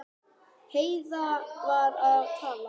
Heiða var að tala.